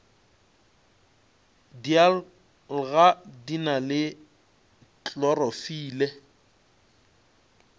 dialga di na le klorofile